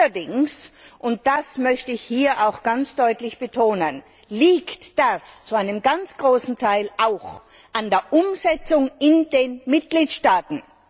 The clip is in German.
Allerdings, und das möchte ich hier auch ganz deutlich betonen, liegt das zu einem ganz großen Teil auch an der Umsetzung in den Mitgliedstaaten.